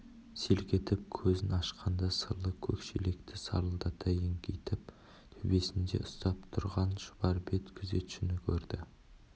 селк етіп көзін ашқанда сырлы көк шелекті сарылдата еңкейтіп төбесінде ұстап тұрған шұбар бет күзетшіні көрді